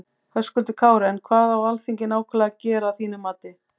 Höskuldur Kári: En hvað á Alþingi nákvæmlega að gera að þínum mati?